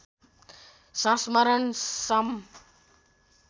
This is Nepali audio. संस्मरण सं